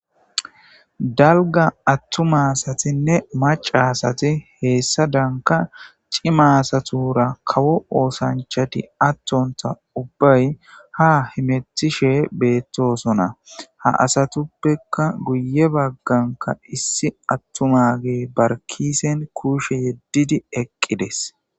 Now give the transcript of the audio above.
Dalga attuma asatine macca asati heessa danka ciimaa asatura kawo oosanchati attontha ubbay ha himetishe beettosona ha asatuppeka guye bagganka issi attumagee barkisen kuushe yeddidi eqqides.